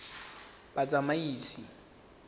batsamaisi